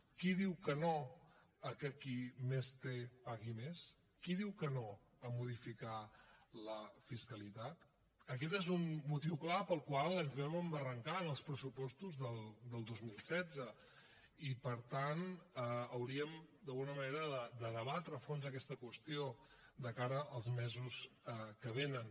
qui diu que no al fet que qui més té pagui més qui diu que no a modificar la fiscalitat aquest és un motiu clar pel qual ens vam embarrancar en els pressupostos del dos mil setze i per tant hauríem d’alguna manera de debatre a fons aquesta qüestió de cara als mesos que vénen